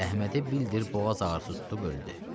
Əhmədi bildir boğaz ağrısı tutub öldü.